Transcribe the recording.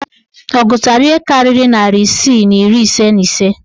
Ọ gụtara ihe karịrị narị isii na iri ise na ise?